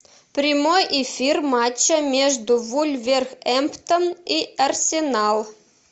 прямой эфир матча между вулверхэмптон и арсенал